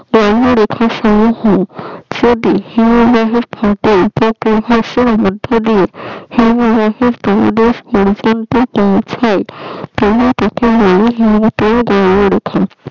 মধ্যে দিয়ে পোঁছাই